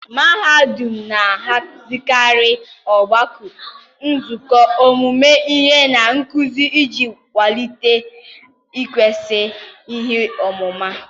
mahadum na-ahazikarị ogbako, nzukọ ọmụmụ ihe, na nkuzi iji kwalite ikesa ihe ọmụma.